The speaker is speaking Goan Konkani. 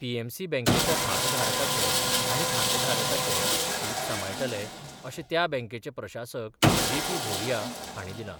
पीएमसी बँकेच्या भागधारकाचे आनी खातेधारकाचे हीत सांबाळटले अशें त्या बँकेचे प्रशासक जेपी भोरिया हांणी दिलां.